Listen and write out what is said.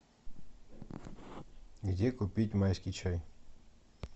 где купить майский чай